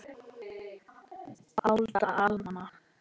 Alda, Alma.